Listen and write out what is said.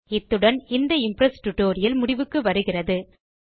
இத்துடன் இந்த Impress tutorial முடிவுக்கு வருகிறது